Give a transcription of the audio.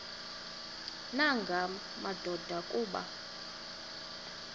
nanga madoda kuba